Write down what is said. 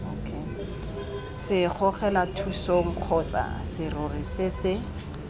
segogelathusong kgotsa serori se se